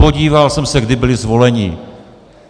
Podíval jsem se, kdy byli zvoleni.